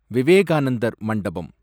விவேகானந்தர் மண்டபம்